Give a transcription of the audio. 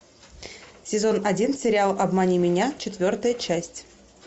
сезон один сериал обмани меня четвертая часть